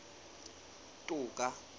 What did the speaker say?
toka